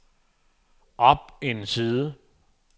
op en side